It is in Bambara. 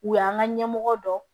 U y'an ka ɲɛmɔgɔ dɔ